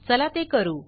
चला ते करू